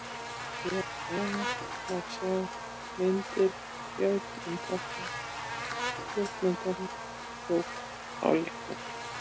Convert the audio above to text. Hér að neðan má sjá myndir sem Björn Ingvarsson ljósmyndari tók á leiknum.